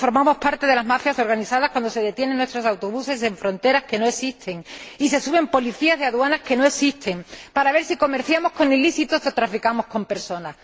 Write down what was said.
O formamos parte de las mafias organizadas cuando se detienen nuestros autobuses en fronteras que no existen y se suben policías de aduanas que no existen para ver si comerciamos con ilícitos o traficamos con personas.